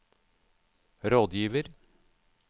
rådgiver